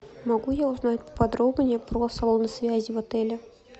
могу я узнать подробнее про салоны связи в отеле